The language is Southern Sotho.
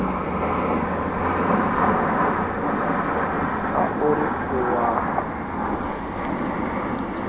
ha o re o a